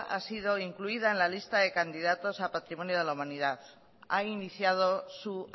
ha sido incluida en la lista de candidatos a patrimonio de la humanidad ha iniciado su